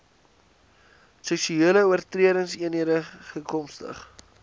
seksuele oortredingseenhede gks